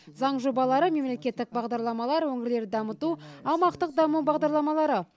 заң жобалары мемлекеттік бағдарламалар өңірлерді дамыту аумақтық даму бағдарламалары